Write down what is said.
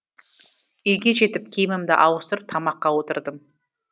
үйге жетіп киімімді ауыстырып тамаққа отырдым